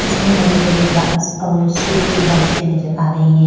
इस में हरी-हरी घास और सूखी घास भी नजर आ रही है।